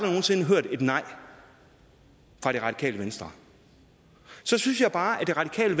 nogen sinde hørt et nej fra det radikale venstre så synes jeg bare at det radikale